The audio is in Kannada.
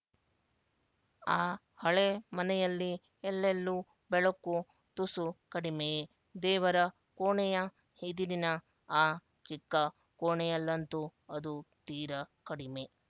ಆ ಹಳೆ ಮನೆಯಲ್ಲಿ ಎಲ್ಲೆಲ್ಲೂ ಬೆಳಕು ತುಸು ಕಡಿಮೆಯೇ ದೇವರ ಕೋಣೆಯ ಇದಿರಿನ ಆ ಚಿಕ್ಕ ಕೋಣೆಯಲ್ಲಂತೂ ಅದು ತೀರ ಕಡಿಮೆ